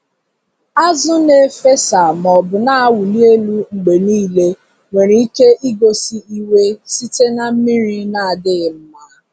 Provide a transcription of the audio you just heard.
Azụ na-efesa maọbụ na-awụli elu mgbe niile nwere ike igosi iwe site na mmiri na-adịghị mma.